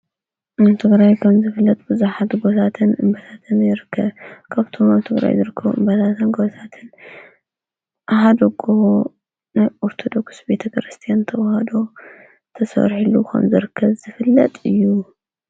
መንቱጕራይኮም ዝፍለጥ ብዙኃት ጐታትን በታተመይርከ ካብቱም ኣንቱጕራይ ድርክ በታተን ጐታትን ኣህደጎ ናይ ቝርተ ደኩስ ቤተ ክርስቲን ተውሃዶ ተሠወርሒሉ ኾምዘርከ ዝፍለጥ እዩ።